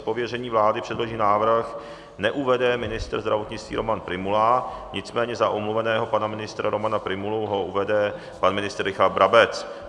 Z pověření vlády předložený návrh neuvede ministr zdravotnictví Roman Prymula, nicméně za omluveného pana ministra Romana Prymulu ho uvede pan ministr Richard Brabec.